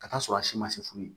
Ka t'a sɔrɔ a si ma se furu ye